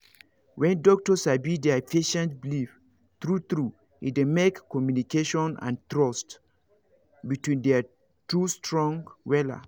when doctor sabi their patient belief true true e dey make communication and trust between their two strong wella